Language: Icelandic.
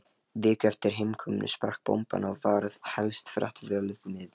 Viku eftir heimkomuna sprakk bomban og varð helsta frétt fjölmiðla